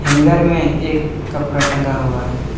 Hanger में एक कपड़ा टंगा हुआ है।